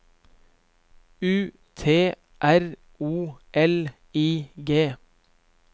U T R O L I G